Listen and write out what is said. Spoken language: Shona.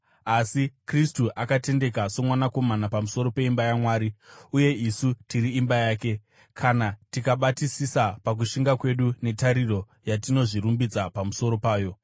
Asi Kristu akatendeka somwanakomana pamusoro peimba yaMwari. Uye isu tiri imba yake, kana tikabatisisa pakushinga kwedu netariro yatinozvirumbidza pamusoro payo.